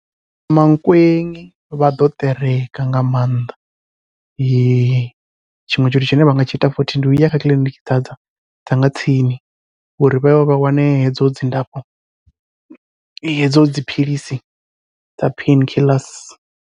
Mankweng vha ḓo ṱereka nga maanḓa, tshiṅwe tshithu tshine vha nga tshi ita futhi ndi uya kha kiḽiniki dza dza dza nga tsini uri vhaye vha wane hedzo dzilafho hedzo dziphilisi dza pain killers.